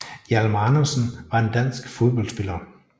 Hjalmar Andersen var en dansk fodboldspiller